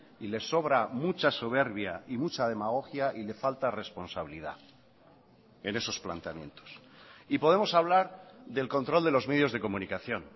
y le sobra mucha soberbia y mucha demagogia y le falta responsabilidad en esos planteamientos y podemos hablar del control de los medios de comunicación